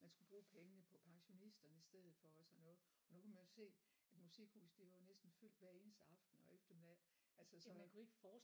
Man skulle bruge pengene på pensionisterne i stedet for og sådan noget og nu kan man jo se at Musikhuset det er næsten fyldt hver eneste aften og eftermiddag altså så